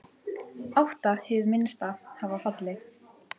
Átta hið minnsta hafa fallið.